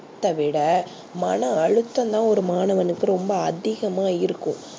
என்னத்த விட மண அழுத்தம் தா ஒரு மாணவனுக்கு அதிகமா இருக்கும்